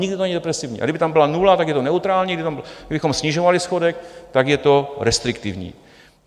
Nikdy to není depresivní, a kdyby tam byla nula, tak je to neutrální, kdybychom snižovali schodek, tak je to restriktivní.